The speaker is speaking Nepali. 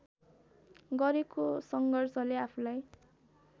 गरेको सङ्घर्षले आफूलाई